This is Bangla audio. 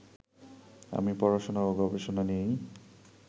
আমি পড়াশোনা ও গবেষণা নিয়েই